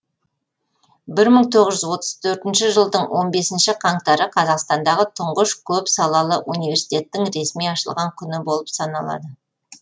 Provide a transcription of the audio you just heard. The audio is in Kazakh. бір мың тоғыз жүз отыз төртінші жылдың он бесінші қаңтары қазақстандағы тұңғыш көп салалы университеттің ресми ашылған күні болып саналады